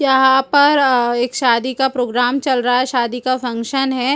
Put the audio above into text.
यह पर एक शादी का प्रोग्राम चल रहा है शादी का फैशन है।